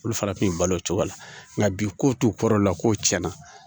Olu fana kun bi balo o cogo la nka bi ko t'u kɔrɔla ko tiɲɛna